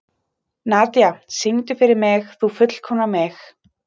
Nadia, syngdu fyrir mig „Þú fullkomnar mig“.